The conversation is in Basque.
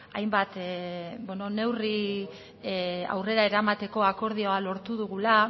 hainbat neurri aurrera eramateko akordioa lortu dugula